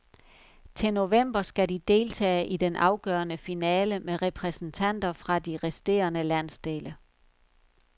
Til november skal de deltage i den afgørende finale med repræsentanter fra de resterende landsdele.